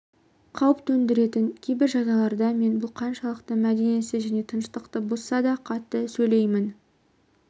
қауіп төндіретін кейбір жағдайларда мен бұл қаншалықты мәдениетсіз және тыныштықты бұзсада қатты сөйлеймін